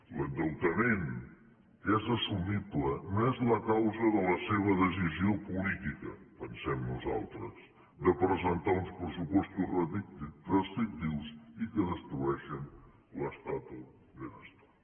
l’endeutament que és assumible no és la causa de la seva decisió política ho pensem nosaltres de presentar uns pressupostos restrictius i que destrueixen l’estat del benestar